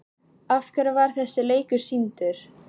Af hverju var þessi leikur sýndur?